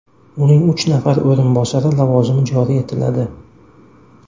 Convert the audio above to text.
Uning uch nafar o‘rinbosari lavozimi joriy etiladi.